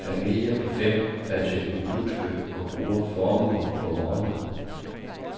Familie på fem er til impulskøb og bruger formuer på morgenmad.